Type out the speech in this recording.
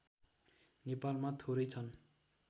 नेपालमा थोरै छन्